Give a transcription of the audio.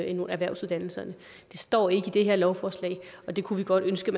ind på erhvervsuddannelserne det står ikke i det her lovforslag men det kunne vi godt ønske